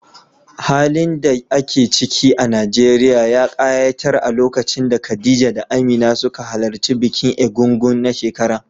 Halin da ake ciki a Najeriya ya ƙayatar a lokacin da Khadija da Amina suka halarci bikin Ègúngún na shekara.